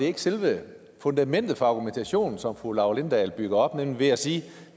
ikke selve fundamentet for den argumentation som fru laura lindahl bygger op nemlig ved at sige at